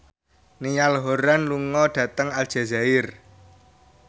Niall Horran lunga dhateng Aljazair